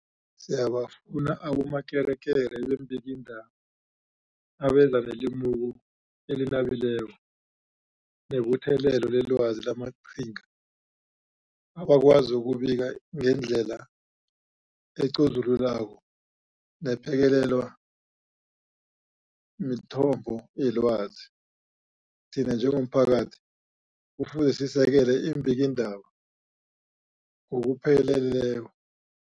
Siyabafuna abomakekere beembikiindaba abeza nelimuko elinabileko nebuthelelo lelwazi namaqhinga, abakwazi ukubika ngendlela ecozululako nephekelelwa mithombo yelwazi. Thina njengomphakathi kufuze sisekele iimbikiindaba ngokupheleleko.